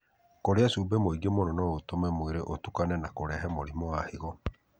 Kũrĩa cumbĩ mũingĩ mũno no gũtũme mwĩrĩ ũtukane na kũrehe mũrimũ wa higo.